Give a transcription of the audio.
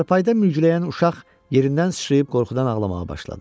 Çarpayda mürgülyən uşaq yerindən sıçrayıb qorxudan ağlamağa başladı.